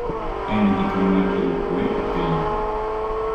En gi ting’ mar kelo kuwe e piny